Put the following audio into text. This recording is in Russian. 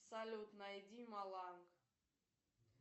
салют найди маланг